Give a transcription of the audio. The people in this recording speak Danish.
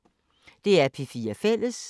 DR P4 Fælles